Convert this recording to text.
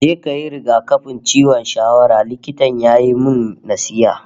"Je kayi rigakafin ciwon shawara", Likitan ya yi min nasiha